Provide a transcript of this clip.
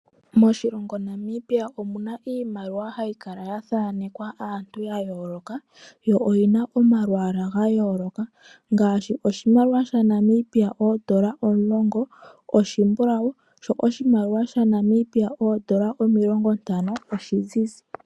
Moshilongo Namibia omu na iimaliwa hayi kala ya thanekwa aantu ya yooloka yo oyi na omalwaala ga yooloka, ngaashi oshimaliwa shaNamibia shoodola omulongo oshimbulawu, sho oshimaliwa shaNamibia shoodola omilongontano oshizizi.